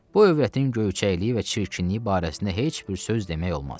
Bu övrətin göyçəkliyi və çirkinliyi barəsində heç bir söz demək olmaz.